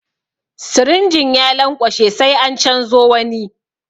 Sirinjin ya lanƙwashe sai an canzo wani.